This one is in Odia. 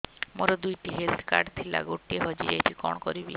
ମୋର ଦୁଇଟି ହେଲ୍ଥ କାର୍ଡ ଥିଲା ଗୋଟିଏ ହଜି ଯାଇଛି କଣ କରିବି